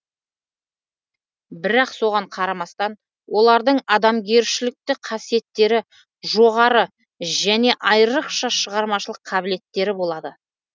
бірақ соған қарамастан олардың адамгершілікті қасиеттері жоғары және айрықша шығармашылық қабілеттері болады